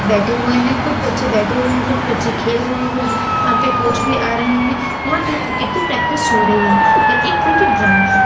बैठे हुए है कुछ बच्चे बैठे हुए हैं कुछ बच्चे खेल रहे हैं कुछ यहां पे कोच भी आ रहे हैं यहां पे क्रिकेट की प्रैक्टिस हो रही है ये एक क्रिकेट ग्राउंड है।